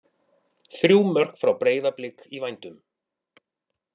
Þrjú mörk frá Breiðablik í vændum?